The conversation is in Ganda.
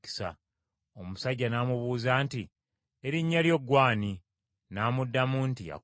Omusajja n’amubuuza nti, “Erinnya lyo gw’ani?” N’amuddamu nti, “Yakobo.”